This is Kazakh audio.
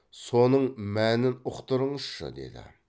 соның мәнін ұқтырыңызшы деді